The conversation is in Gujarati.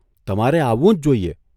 તમારે આવવું જ જોઇએ.